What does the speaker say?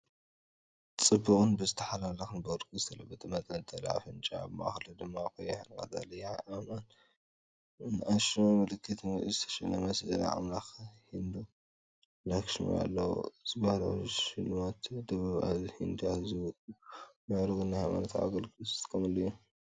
ጽቡቕን ብዝተሓላለኸን ብወርቂ ዝተለበጠ መንጠልጠሊ ኣፍንጫ። ኣብ ማእከሉ ድማ ብቐይሕን ቀጠልያን ኣእማንን ንኣሽቱ ምልክት ምልክትን ዝተሸለመ ስእሊ ኣምላኽ ሂንዱ (ላክሽሚ) ኣለዎ። እዚ ባህላዊ ሽልማት ደቡብ ህንዲ ኣዝዩ ውቁብን ምዕሩግን ንሃይማኖታዊ ኣገልግሎት ዝጥቀምሉ እዩ፡፡